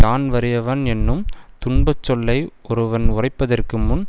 யான் வறியவன் என்னும் துன்பச் சொல்லை ஒருவன் உரைப்பதற்கு முன்